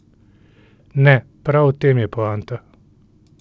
Ne, prav v tem je poanta!